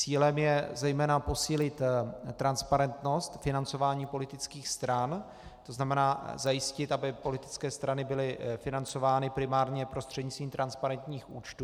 Cílem je zejména posílit transparentnost financování politických stran, to znamená zajistit, aby politické strany byly financovány primárně prostřednictvím transparentních účtů.